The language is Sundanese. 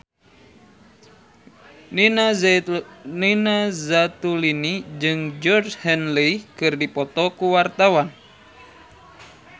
Nina Zatulini jeung Georgie Henley keur dipoto ku wartawan